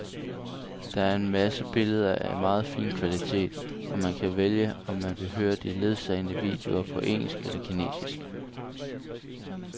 Der er en masse billeder af meget fin kvalitet, og man kan vælge, om man vil høre de ledsagende videoer på engelsk eller kinesisk.